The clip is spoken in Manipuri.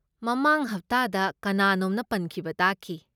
ꯃꯃꯥꯡ ꯍꯞꯇꯥꯗ ꯀꯅꯥꯅꯣꯝꯅ ꯄꯟꯈꯤꯕ ꯇꯥꯈꯤ꯫